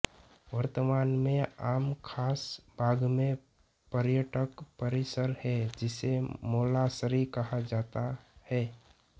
वर्तमान में आमखास बाग में पर्यटक परिसर है जिसे मौलासरी कहा जाता है